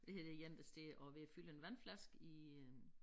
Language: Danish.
Det her det én der står og er ved at fylde en vandflaske i øh